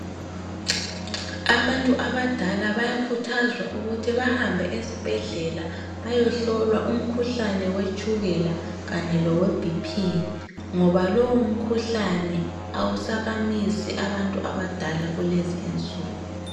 Abantu abadala bayakhuthazwa ukuthi bahambe esibhedlela bayehlolwa umkhuhlane wetshukela kanye loweBP ngoba lowu umkhuhlane awusabamisi abantu abadala kulezi insuku.